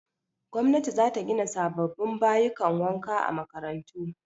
Gwamnati za ta gina sababbin bayukan wanka a makarantu